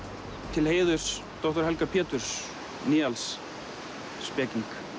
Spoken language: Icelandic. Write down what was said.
til heiðurs doktor Helga Pjeturs Nyalls speking